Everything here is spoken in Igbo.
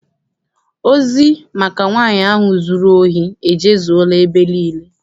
Ozi maka nwaanyị ahụ zụrụ ohi ejezuela ebe niile.